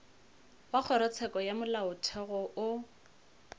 wa kgorotsheko ya molaotheo o